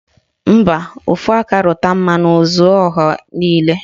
Mba, ofu aka rụta mmanụ o zuoro ọha niile